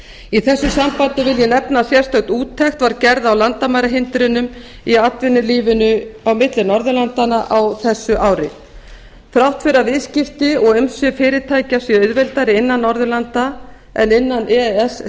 í þessu sambandi vil ég nefna að sérstök úttekt var gerð á landamærahindrunum í atvinnulífinu á milli norðurlandanna á þessu ári þrátt fyrir að viðskipti og umsvif fyrirtækja séu auðveldari innan norðurlanda en innan e e s